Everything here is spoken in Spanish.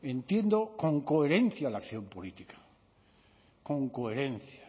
entiendo con coherencia la acción política con coherencia